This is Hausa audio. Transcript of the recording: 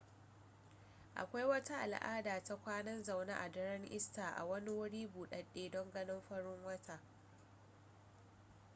akwai wata al'ada ta kwanan zaune a daren easter a wani wuri buɗaɗɗe don ganin fitowar rana